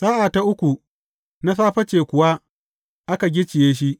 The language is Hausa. Sa’a ta uku na safe ce kuwa aka gicciye shi.